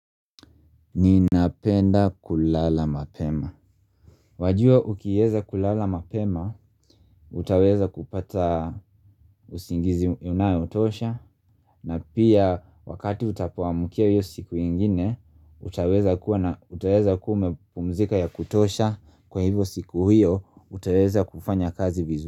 Ninapenda kulala mapema Wajua ukieza kulala mapema, utaweza kupata usingizi unayotosha na pia wakati utapoamkia hiyo siku ingine, utaweza kuwa umepumzika ya kutosha Kwa hivo siku hiyo, utaweza kufanya kazi vizu.